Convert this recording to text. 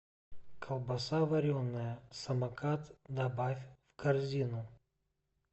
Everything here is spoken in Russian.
колбаса вареная самокат добавь в корзину